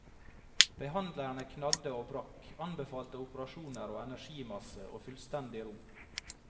Behandlerne knadde og brakk, anbefalte operasjoner og energimassasje og fullstendig ro.